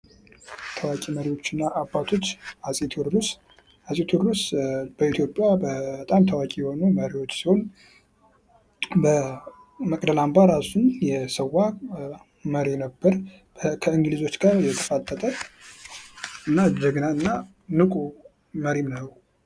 ታዋቂ መሪዎች እና አባቶች አፄ ቴዎድሮስ አፄ ቴዎድሮስ በኢትዮጵያ በጣም ታዋቂ የሆኑ መሪዎች ሲሆን በመቅደላ አምባ እራሱን የሰዋ መሪ ነበር። ከእንግሊዞች ጋር የተፋጠጠ እና ጀግናና እና ንቁ መሪ ነው።